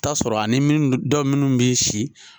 T'a sɔrɔ ani min dɔ munnu b'i si.